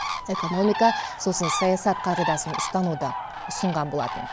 экономика сосын саясат қағидасын ұстануды ұсынған болатын